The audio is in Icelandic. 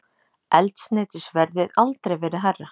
Eldsneytisverðið aldrei verið hærra